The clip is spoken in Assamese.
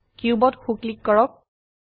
কিউবত সো ক্লিক কৰক